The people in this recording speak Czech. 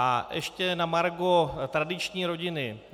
A ještě na margo tradiční rodiny.